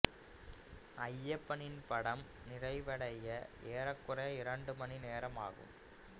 ஐயப்பனின் படம் நிறைவடைய ஏறக்குறைய இரண்டு மணி நேரம் ஆகும்